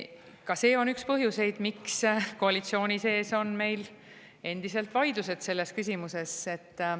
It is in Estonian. Ka see on üks põhjuseid, miks koalitsiooni sees on meil endiselt vaidlused selles küsimuses.